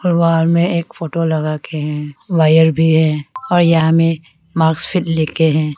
Wall में एक photo लगा के है वायर भी है और यहां में लेके हैं।